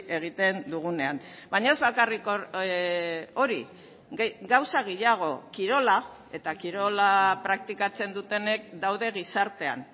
egiten dugunean baina ez bakarrik hori gauza gehiago kirola eta kirola praktikatzen dutenek daude gizartean